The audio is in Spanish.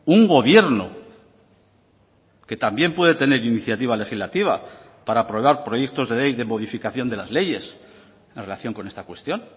un gobierno que también puede tener iniciativa legislativa para aprobar proyectos de ley de modificación de las leyes en relación con esta cuestión